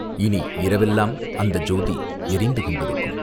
இனி இரவெல்லாம் அந்த ஜோதி எரிந்து கொண்டிருக்கும்.